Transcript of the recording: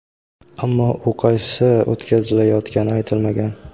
Ammo u qaysi o‘tkazilgani aytilmagan.